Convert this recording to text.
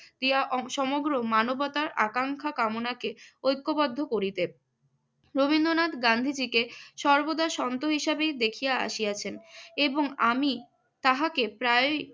ক্রিয়া অং~ সমগ্র মানবতার আকাঙ্ক্ষা কামনাকে ঐক্যবদ্ধ করিতে। রবীন্দ্রনাথ গান্ধীজীকে র্সবদা শন্তু হিসেবেই দেখিয়া আসিয়াছেন এবং আমি তাহাকে প্রায়ই